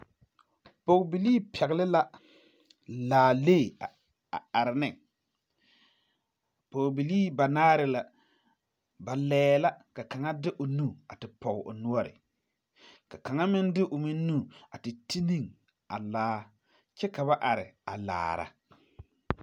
Pɔgebelee pɛgli la laalee a are ne pɔgebelee banaare la ba lɛɛ la ka kaŋa de o nu te pɔg o noɔri kaŋa meŋ de o nu a te ti ne a laa kyɛ ka ba are a laara.